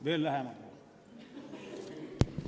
Veel lähemale või?